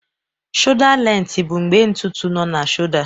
Shọda lenti bụ mgbe ntutu nọ na Shọda.